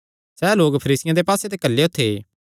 सैह़ लोक फरीसियां दे पास्से ते घल्लेयो थे